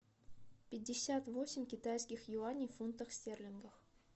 пятьдесят восемь китайских юаней в фунтах стерлингов